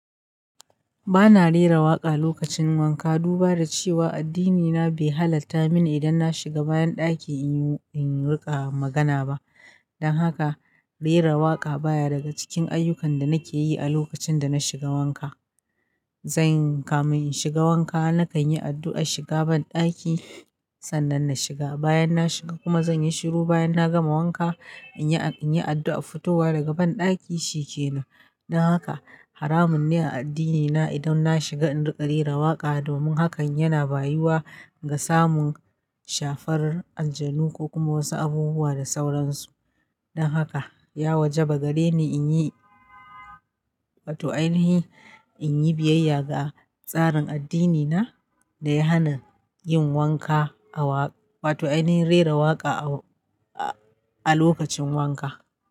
Ba na rera waƙa lokacin wanka, duba da cewa addinina bai halatta mini idan na shiga ban ɗaki in riƙa magana ba. Don haka, rera waƙa baya daga cikin ayyukan da nake yi a lokacin da na shiga wanka. Zanyi kamin inshiga wanka, na kan yi addu'ar shiga banɗaki sannan na shiga. Bayan na shiga kuma zan yi shiru bayan na gama wanka, in yi addu'ar fitowa daga banɗaki shi ke nan. Don haka, haramun ne a addinina idan na shiga in riƙa rera waƙa domin hakan yana bayiwa ga samun shafar aljanu ko kuma wasu abubuwa da sauran su. Don haka, ya wajaba gare ni in yi, wato ainihin, in yi biyayya ga tsarin addinina da ya hana yin wanka a waƙa, wato ainihin rera waƙa a lokacin wanka.